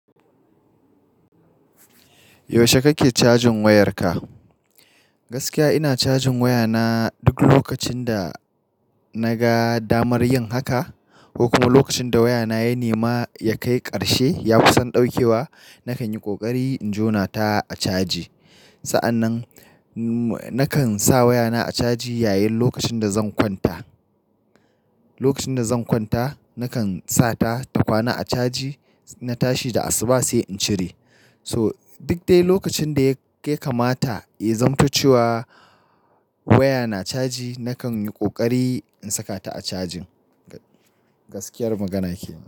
Yaushe kake cajin wayarka? Gaskiya ina cajin wayana duk lokacin da na ga damar yin haka ko kuma lokacin da wayana ya nema ya kai ƙarshe ya kusan ɗaukewa, na kan yi ƙoƙari in jona ta a caji. Sa'annan, na kan sa wayana a caji yayin lokacin da zan kwanta. Lokacin da zan kwanta, na kan sa ta ta kwana a caji, na tashi da asuba sai in cire. So duk dai lokacin da ya kamata, ya zamta ce wa waya na caji, na kan yi ƙoƙari in saka ta a cajin. Gaskiyar magana ke.